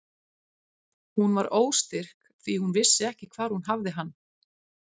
Hún var óstyrk því hún vissi ekki hvar hún hafði hann.